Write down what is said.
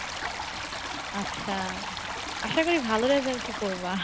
আচ্ছা, আশা করি ভালো result ই করবা।